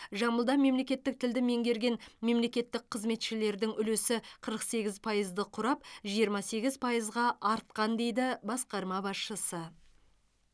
жамбылда мемлекеттік тілді меңгерген мемлекеттік қызметшілердің үлесі қырық сегіз пайызды құрап жиырма сегіз пайызға артқан дейді басқарма басшысы